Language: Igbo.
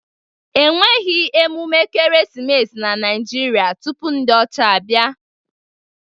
E nweghi emume ekeresimesi na Naijiria tupu ndi ocha abia.